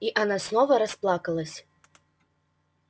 и она снова расплакалась